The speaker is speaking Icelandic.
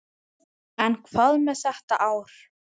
En hvað með þetta ár?